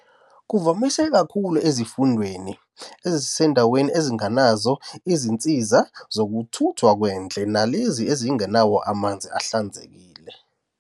Kuvamise kakhulu ezifundeni ezisendaweni ezingenazo izinsiza zokuthuthwa kwendle nalezi ezingenawo amanzi ahlanzekile.